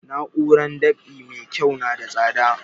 Na'urar dab'i mai kyau na da tsada